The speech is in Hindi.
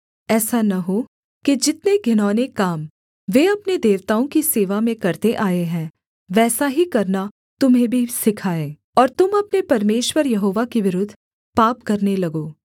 ऐसा न हो कि जितने घिनौने काम वे अपने देवताओं की सेवा में करते आए हैं वैसा ही करना तुम्हें भी सिखाएँ और तुम अपने परमेश्वर यहोवा के विरुद्ध पाप करने लगो